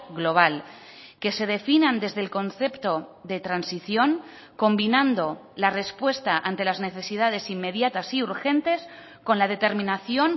global que se definan desde el concepto de transición combinando la respuesta ante las necesidades inmediatas y urgentes con la determinación